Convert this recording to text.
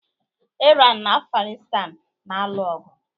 Iran na Afghanistan na-alụ ọgụ